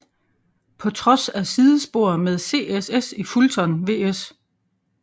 På trods af sidespor med CSS i Fulton vs